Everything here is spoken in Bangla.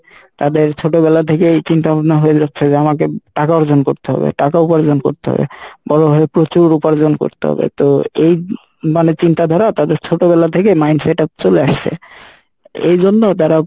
তাদের ছোট বেলা থেকে এই চিন্তা ভাবনা হয়ে যাচ্ছে যে আমাকে টাকা অর্জন করতে হবে টাকা উপার্জন করতে হবে, বড় হয়ে প্রচুর উপার্জন করতে হবে তো এই মানে চিন্তা ধারা তাদের ছোট বেলা থেকে mind setup চলে আসছে এইজন্য তারা